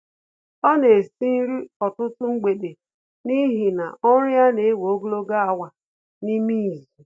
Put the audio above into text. Ọ na esi nri ọtụtụ mgbede n'ihi na ọrụ ya na-ewe ogologo awa n'ime izu